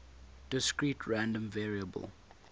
discrete random variable